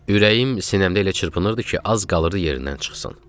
Ürəyim sinəmdə elə çırpınırdı ki, az qalırdı yerindən çıxsın.